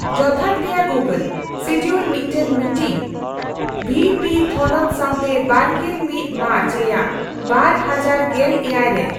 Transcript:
ᱡᱚᱛᱷᱟᱛ ᱜᱮᱭᱟ Google schedule ᱢᱤᱫᱴᱟᱝ ᱢᱤᱴᱤᱝ ᱵᱷᱤᱹ ᱯᱤᱹ ᱛᱷᱚᱱᱚᱛ ᱥᱟᱶᱛᱮ ᱵᱟᱨᱜᱮᱞ ᱢᱤᱫ ᱢᱟᱨᱪ ᱨᱮᱭᱟᱜ ᱵᱟᱨ ᱦᱟᱡᱟᱨ ᱜᱮᱞᱮᱭᱟᱜ ᱨᱮ